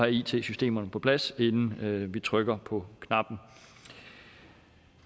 it systemerne på plads inden vi trykker på knappen